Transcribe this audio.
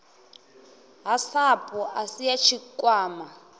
ha sapu asi ya tshikwama